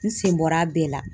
N sen bɔr'a bɛɛ la